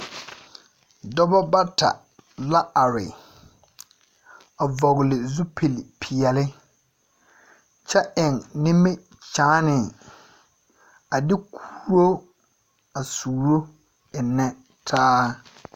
Dͻbͻ bata la are, a vͻgele zupili peԑle kyԑ eŋ nimikyaane, a de kuo a suuro ennԑ taa.